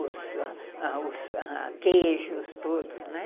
os queijos todos, né?